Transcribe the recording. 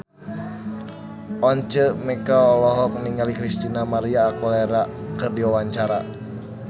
Once Mekel olohok ningali Christina María Aguilera keur diwawancara